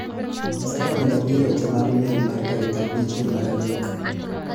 Nyisa ka onego abi e weche mag miel mar tarik abich dwe mar adek.